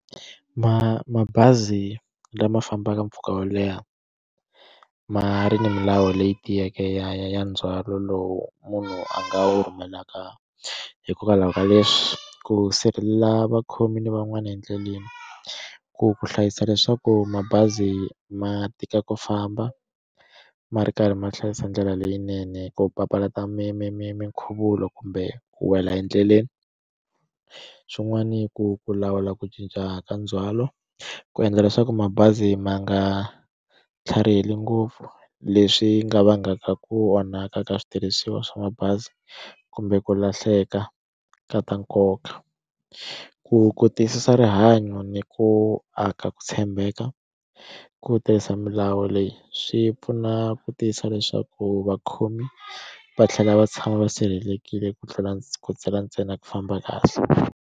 Ma mabazi lama fambaka mpfhuka wo leha ma ri ni milawu leyi tiyeke ya ndzhwalo lowu munhu a nga wu rhumelaka hikokwalaho ka leswi ku sirhelela vakhomi van'wani endleleni ku ku hlayisa leswaku mabazi ma tika ku famba ma ri karhi ma hlayisa ndlela leyinene ku papalata mi mi mi mi nkhuvulo kumbe ku wela endleleni xin'wani ku ku lawula ku cinca ka ndzhwalo ku endla leswaku mabazi ma nga tlhariheli ngopfu leswi nga vangaka ku onhaka ka switirhisiwa swa mabazi kumbe ku lahleka ka ta nkoka ku ku tiyisisa rihanyo ni ku ku aka ku tshembeka ku tirhisa milawu leyi swi pfuna ku tiyisa leswaku vakhomi va tlhela va tshama va sirhelelekile ku tlhela ndzi ntsena ku famba kahle.